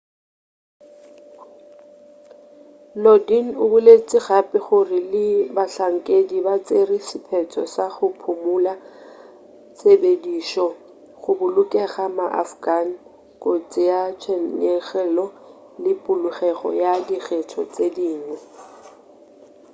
lodin o boletše gape gore le bahlankedi ba tšere sephetho sa go phumula tshepedišo go bolokela ma-afghan kotsi ya tshenyegelo le polokego ya dikgetho tše dingwe